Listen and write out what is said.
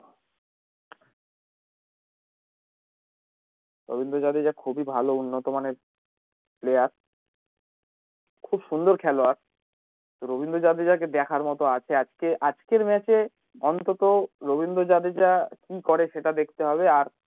রবীন্দ্র জাদেজা খুব ই ভালো উন্নত মানের player খুব সুন্দর খেলোয়াড় রবীন্দ্র জাদেজা কে দেখার মতো আছে আজকে আজকের match এ অন্তত রবীন্দ্র জাদেজা কি করে সেটা দেখতে হবে আর